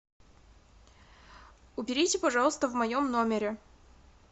уберите пожалуйста в моем номере